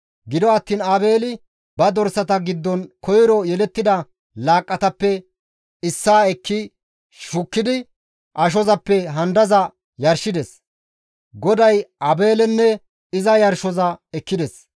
Gido attiin Aabeeli ba dorsata giddon koyro yelettida laaqqatappe issaa ekki shukkidi ashozappe handaza yarshides; GODAY Aabeelenne iza yarshoza ekkides.